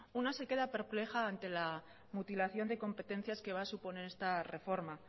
una se queda perpleja ante la mutilación de competencias que va a suponer esta reforma